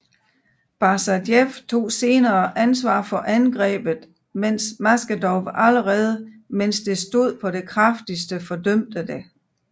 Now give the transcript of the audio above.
Basajev tog senere ansvar for angrebet mens Maskhadov allerede mens det stod på det kraftigste fordømte det